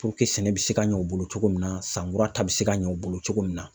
sɛnɛ bɛ se ka ɲɛ o bolo cogo min na san kura ta bɛ se ka ɲɛ o bolo cogo min na.